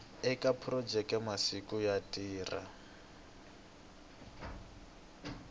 eka phurojeke masiku yo tirha